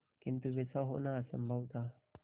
किंतु वैसा होना असंभव था